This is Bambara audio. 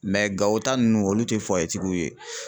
Gawo ta nunnu olu tɛ tigiw ye.